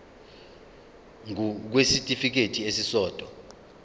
ngur kwisitifikedi esisodwa